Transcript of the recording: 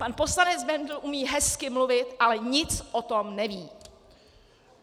Pan poslanec Bendl umí hezky mluvit, ale nic o tom neví!